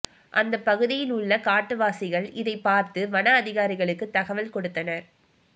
அந்த பகுதியில் உள்ள காட்டுவாசிகள் இதை பார்த்து வன அதிகாரிகளுக்கு தகவல் கொடுத்தனர்